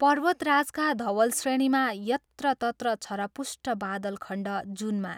पर्वतराजका धवल श्रेणीमा यत्रतत्र छरपुष्ट बादलखण्ड जूनमा